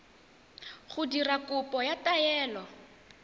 go dira kopo ya taelo